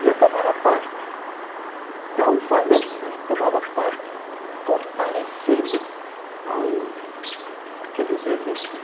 E eu tomava parte, não falando, mas tomava parte comparecendo ao àqueles eventos.